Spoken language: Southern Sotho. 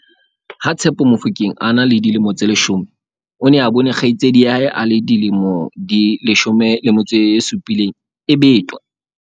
Ha- Tshepo Mofokeng a ne a le dilemo tse 10, o ne a bone kgaitsedi ya hae e dilemo di 17 e betwa.